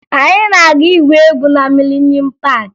Anyị na-aga igwu egwu na Milenuum Paakị